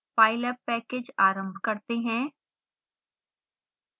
pylab package आरंभ करते हैं